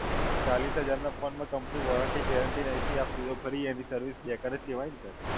હવે ચાલીસ હજારનાં Phone માં Company Warranty Guarantee નથી આપતી, તો ફરી એની Service બેકાર જ કહેવાય ને Sir